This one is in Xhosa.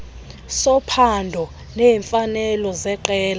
sophando neemfanelo zeqela